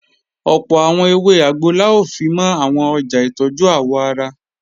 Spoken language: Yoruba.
Ọ̀pọ̀ àwọn ewé àgbo la ó fimọ́ àwọn ọjà ìtọ́jú àwọ̀ ara